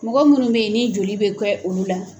Mɔgɔ minnu bɛ yen ni joli bɛ kɛ olu la.